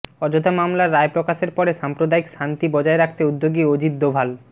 অযোধ্যা মামলার রায় প্রকাশের পরে সাম্প্রদায়িক শান্তি বজায় রাখতে উদ্যোগী অজিত দোভাল